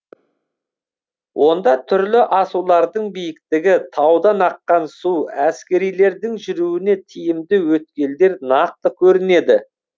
онда түрлі асулардың биіктігі таудан аққан су әскерилердің жүруіне тиімді өткелдер нақты көрінеді